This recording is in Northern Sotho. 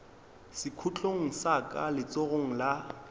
sekhutlong sa ka letsogong la